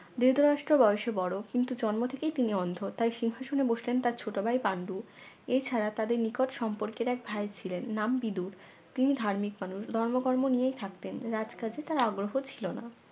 ধৃতরাষ্ট্র বয়সে বড় কিন্তু জন্ম থেকেই তিনি অন্ধ তাই সিংহাসনে বসলেন তার ছোট ভাই পান্ডু এছাড়া তাদের নিকট সম্পর্কের এক ভাই ছিলেন নাম বিদুর তিনি ধার্মিক মানুষ ধর্ম কর্ম নিয়ে থাকতেন রাজ কাজে তার আগ্রহ ছিল না